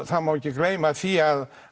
það má ekki gleyma því að